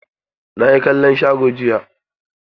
Na yi kallon sharo jiya.